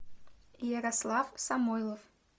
ярослав самойлов